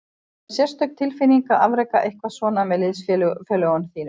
Það er sérstök tilfinning að afreka eitthvað svona með liðsfélögum þínum.